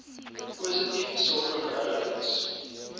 positief sulke verhoudings